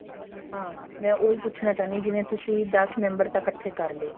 ਹਾਂ ਮੈਂ ਉਹੀ ਪੁੱਛਨਾ ਚਾਹੁੰਦੀ ਹਾਂ ਜਿਵੇਂ ਤੁਸੀਂ ਦਸ member ਤਾਂ ਇੱਕਠੇ ਕਰ ਲਏ